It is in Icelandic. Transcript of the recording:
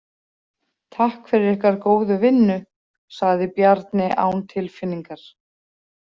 Takk fyrir ykkar góðu vinnu, sagði Bjarni án tilfinningar.